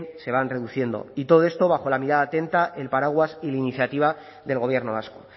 se van reduciendo y todo esto bajo la mirada atenta el paraguas y la iniciativa del gobierno vasco